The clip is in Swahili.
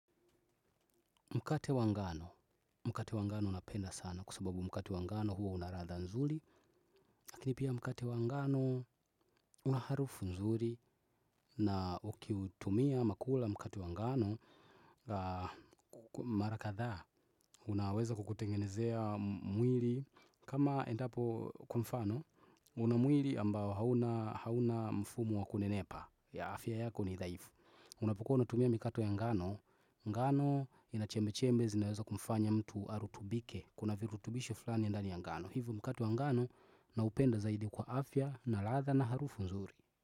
Mkate wa ngano, mkate wa ngano napenda sana kwa sababu mkate wa ngano huwa una radha nzuri. Lakini pia mkate wa ngano una harufu nzuri na ukiutumia makula mkate wa ngano mara kadhaa. Unaweza kukutengenezea mwiri kama endapo kwa mfano una mwiri ambao hauna hauna mfumo wa kunenepa ya afya yako ni dhaifu. Unapokuwa unatumia mikato ya ngano ngano ina chembe chembe zinaweza kumfanya mtu arutubike kuna virutubisho fulani ndani ya ngano hivo mikate ya ngano na upenda zaidi kwa afya na latha na harufu nzuri.